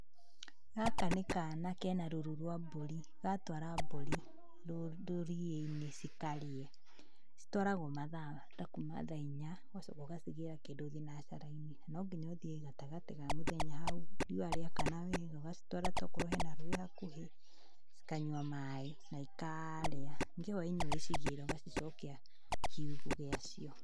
Gaka nĩ kana kena rũru rwa mbũri. Gatwara mbũri rũriĩ-inĩ cikarĩe. Citwaragwo mathaa ta kuma thaa inya, ũgacoka ũgacicokia kĩndũ thinacara-inĩ. Nonginya ũthiĩ gatagati ka mũthenya hau, riua rĩakana wega, ũgacitwara tokorwo hena rũĩ hakuhĩ, ikanyua maĩ, na ikarĩa, ningĩ hwa-inĩ ũgacigĩra, ũgacicokia kiugũ gĩacio.